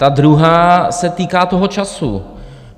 Ta druhá se týká toho času.